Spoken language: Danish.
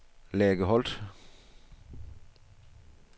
Lærke Holt